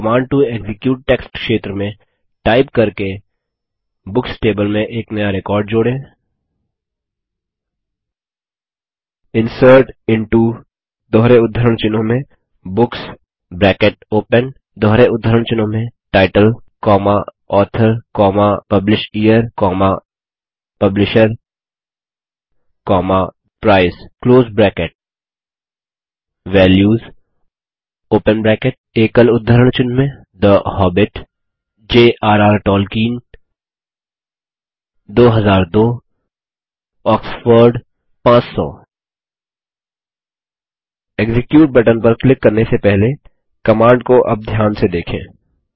command to execute text क्षेत्र में type करके बुक्स टेबल में नया रिकॉर्ड जोड़ें insert into books title author publisher publisher price values the Hobbit jrर टोल्किएन 2002 आक्सफोर्ड 500 एक्जीक्यूट बटन पर क्लिक करने से पहले कमांड को अब ध्यान से देखें